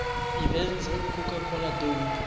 events at the colacola dome